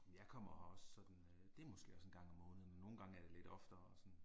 Jeg kommer her også sådan øh det er måske også en gang om måneden men nogle gange er det lidt oftere og sådan